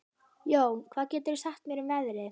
Jón, hvað geturðu sagt mér um veðrið?